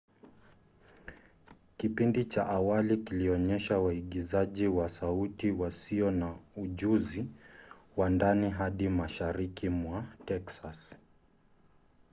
kipindi cha awali kilionyesha waigizaji wa sauti wasio na ujuzi wa ndani hadi mashariki mwa texas